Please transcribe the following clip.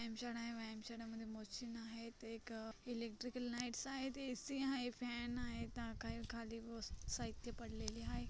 व्यायामशाळा आहे व्यायामशाळेमध्ये मशीन्स आहेत ते एक इलेक्ट्रिकल लाईटस आहे ए_सी आहे फॅन आहे आहे खाली साहित्य पडलेले आहे.